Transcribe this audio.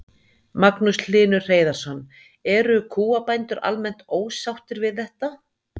Magnús Hlynur Hreiðarsson: Eru kúabændur almennt ósáttir við þetta?